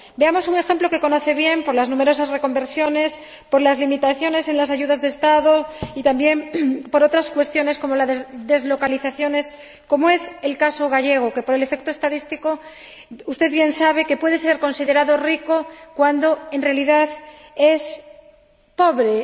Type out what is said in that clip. Veamos un ejemplo que conoce bien, por las numerosas reconversiones, por las limitaciones en las ayudas de Estado, y también por otras cuestiones como las deslocalizaciones, como es el caso gallego, que, por el efecto estadístico, usted bien sabe que puede ser considerado un territorio rico, cuando en realidad es pobre.